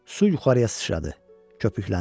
Su yuxarıya sıçradı, köpükləndi.